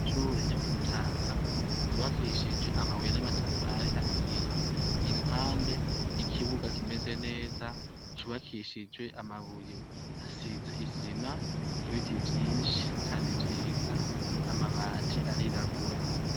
Ishure ryo ku Mutanga, ryubakishije amabuye n' amatafari ahiye. Iruhande, ikibuga kimeze neza c' ubakishije amabuye. Hasize isima, ibiti vyinshi kandi vyiza. Amabati arirabura.